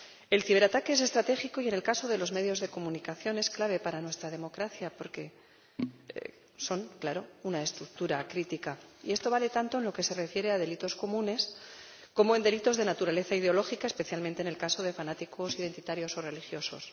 El ciberataque es estratégico, y en el caso de los medios de comunicación es clave para nuestra democracia porque son, claro, una estructura crítica, y esto vale tanto en lo que se refiere a delitos comunes como a delitos de naturaleza ideológica, especialmente en el caso de fanáticos identitarios o religiosos.